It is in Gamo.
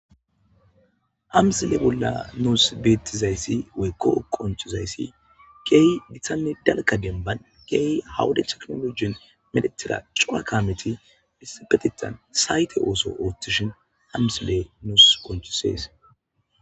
Ha msile bolla nuus beettizayssi woykkoo qonchizayssi keehi gitanne dalga denban keehi hawude teknologin medhetira cora kameti bisibetetan sayte ooso oothtishin ha msiley nuus qonchisees